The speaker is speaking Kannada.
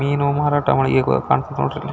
ಮೀನು ಮಾರಾಟ ಹೇಗ್ ಕಾಣುತ್ತೆ ನೋಡ್ರಿ --